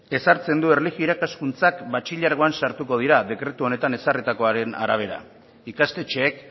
ezartzen du erlijio irakaskuntzak batxilergoan sartuko dira dekretu honetan ezarritakoaren arabera ikastetxeek